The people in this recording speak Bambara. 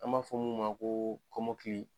An b'a fɔ mun ma ko kɔmokili